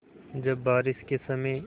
जब बारिश के समय